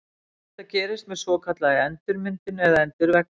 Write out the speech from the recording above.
Þetta gerist með svokallaðri endurmyndun eða endurvexti.